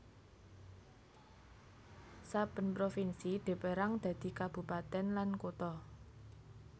Saben provinsi dipérang dadi kabupatèn lan kutha